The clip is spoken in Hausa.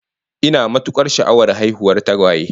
Ina matukar sha'awar haihuwar tagwaye